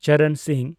ᱪᱚᱨᱚᱱ ᱥᱤᱝ